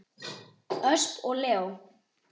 Ösp og Leó.